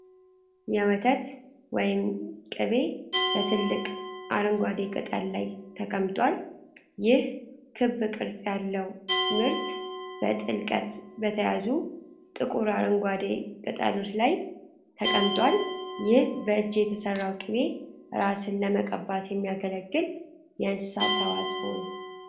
የወተት ወይም ቅቤ በትልቅ አረንጓዴ ቅጠል ላይ ተቀምጧል። ይህ ክብ ቅርጽ ያለው ምርት በጥልቀት በተያዙ ጥቁር አረንጓዴ ቅጠሎች ላይ ተቀምጧል። ይህ በእጅ የተሠራው ቅቤ እራስን ለመቀባት የሚያገለግል የእንስሳት ተዋጻኦ ነው፡፡